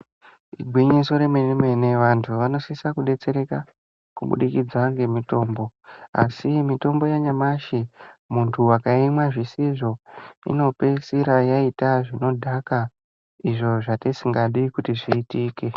Igwinyiso remene mene vantu vanosisa kudetsereka kubudikidza ngemutombo asi mitombo yanyamashi muntu akaimwa zvisizvo inopeisira yaita zvinodhakwa izvo zvatisingadi kuti zviitike.